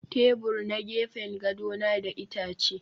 Tebur na gefen gado na da itace